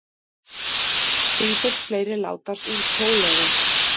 Sífellt fleiri látast úr kóleru